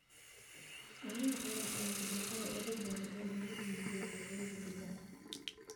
Caanaha ayaa ah badeecada ugu badan ee lagu iibiyo suuqyada gudaha.